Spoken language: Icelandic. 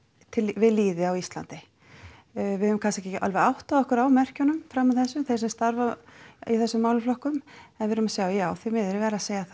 við lýði á Íslandi við kannski ekki alveg áttað okkur á merkjunum fram að þessu þeir sem starfa í þessum málaflokkum en við erum að sjá já því miður ég verð að segja það